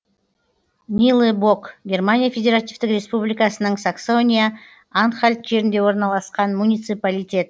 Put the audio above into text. нилебок германия федеративтік республикасының саксония анхальт жерінде орналасқан муниципалитет